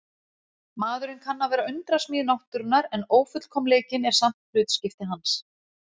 Maðurinn kann að vera undrasmíð náttúrunnar en ófullkomleikinn er samt hlutskipti hans.